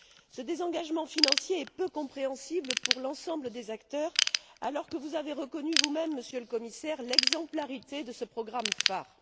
Ce désengagement financier est peu compréhensible pour l'ensemble des acteurs, alors que vous avez reconnu vous même, Monsieur le Commissaire, l'exemplarité de ce programme phare.